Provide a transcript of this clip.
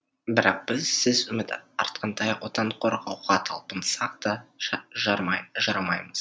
бірақ біз сіз үміт артқандай отан қорғауға талпынсақ та жарамаймыз